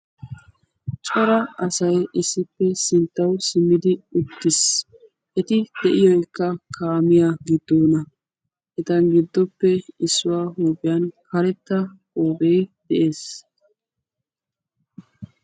cora asay issippe sinttawu simmidi uttiis eti de'iyo ekka kaamiya giddoona etan giddoppe issuwaa huuphiyan karetta ogee de'ees